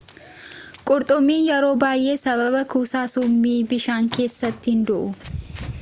qurxummin yeroo baay'ee sababa kuusaa summii bishaan keessaatiin du'u